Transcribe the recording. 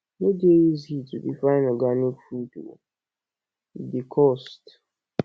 e no dey easy to dey find organic food o e dey cost